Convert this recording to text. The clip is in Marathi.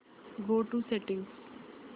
go to settings